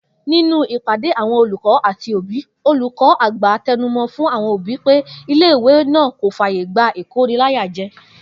Nínú ìpádé àwo̩n olùkó̩ àti òbí, olùkó̩ àgbà te̩numo̩ f̀ún àwo̩n òbí pé ilé ìwé náà kò fàyè gba ìkóniláyàje̩